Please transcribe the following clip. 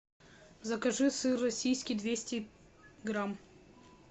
закажи сыр российский двести грамм